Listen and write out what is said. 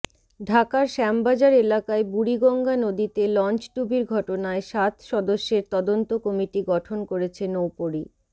ঢাকার শ্যামবাজার এলাকায় বুড়িগঙ্গা নদীতে লঞ্চডুবির ঘটনায় সাত সদস্যের তদন্ত কমিটি গঠন করেছে নৌপরি